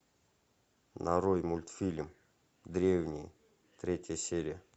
нарой мультфильм древний третья серия